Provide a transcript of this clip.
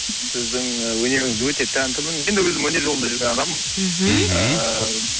сіздің і өнеріңізге өте тәнтімін енді өзім өнер жолын жүрген адаммын мхм ыыы